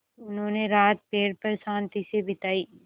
उन्होंने रात पेड़ पर शान्ति से बिताई